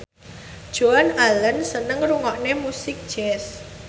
Joan Allen seneng ngrungokne musik jazz